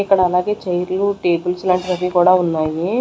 ఇక్కడ అలాగే చైర్లు టేబుల్స్ లాంటివి అవి కూడా ఉన్నాయి.